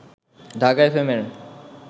Dhaka FM এর